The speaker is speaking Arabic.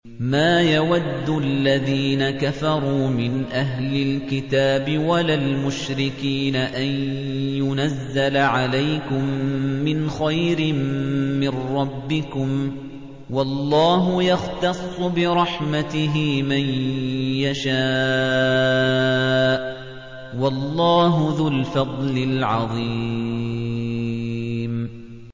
مَّا يَوَدُّ الَّذِينَ كَفَرُوا مِنْ أَهْلِ الْكِتَابِ وَلَا الْمُشْرِكِينَ أَن يُنَزَّلَ عَلَيْكُم مِّنْ خَيْرٍ مِّن رَّبِّكُمْ ۗ وَاللَّهُ يَخْتَصُّ بِرَحْمَتِهِ مَن يَشَاءُ ۚ وَاللَّهُ ذُو الْفَضْلِ الْعَظِيمِ